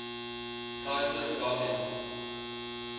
kaiser wilhelm